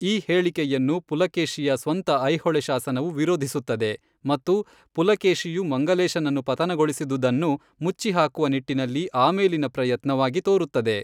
ಈ ಹೇಳಿಕೆಯನ್ನು ಪುಲಕೇಶಿಯ ಸ್ವಂತ ಐಹೊಳೆ ಶಾಸನವು ವಿರೋಧಿಸುತ್ತದೆ ಮತ್ತು ಪುಲಕೇಶಿಯು ಮಂಗಲೇಶನನ್ನು ಪತನಗೊಳಿಸಿದುದನ್ನು ಮುಚ್ಚಿಹಾಕುವ ನಿಟ್ಟಿನಲ್ಲಿ ಆಮೇಲಿನ ಪ್ರಯತ್ನವಾಗಿ ತೋರುತ್ತದೆ.